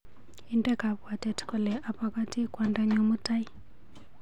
Inde kabwatet kole abakati kwondonyu mutai.